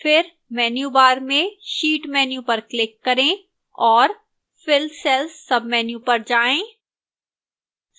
फिर menu bar में sheet menu पर click करें और fill cells menu पर जाएं